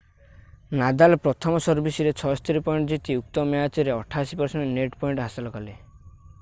Nadal ପ୍ରଥମ ସର୍ଭିସରେ 76 point ଜିତି ଉକ୍ତ ମ୍ୟାଚରେ 88% ନେଟ୍ ପଏଣ୍ଟ ହାସଲ କଲେ